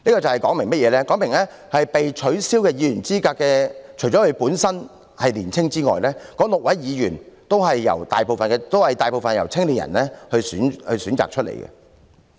說明被取消議員資格的議員，除了本身是年青人外，該6名議員大部分也是由青年人選舉出來的。